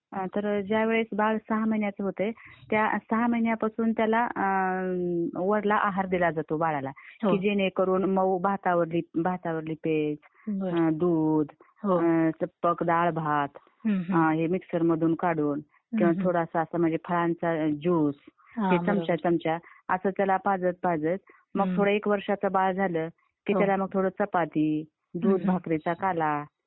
हां , तर ज्या वेळेस बाल सहा महिन्याचं होतय, त्या सहा महिन्यापासून त्याला, वरला आहार दिला जातो बाळाला की जेणेकरून मऊ भातावरली पेज, दूध, मग डाळभात हे मिक्सर मधून काढून, मग थोडासा म्हणजे असं फळांचा जूस हे चमच्या चमच्या .. असं त्याला पाजत- पाजत. मग थोड एक वर्षाच बाळ झालं की मग त्याला थोडी चपाती, दूध भाकरी चा काला.